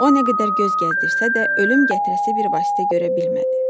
O nə qədər göz gəzdirsə də, ölüm gətirəsi bir vasitə görə bilmədi.